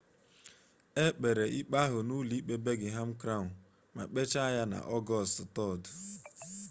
e kpere ikpe ahụ n'ụlọ ikpe birmingham crown ma kpechaa ya na ọgọst 3